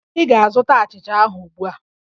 Ị ga-azụta achịcha ahụ ugbu a!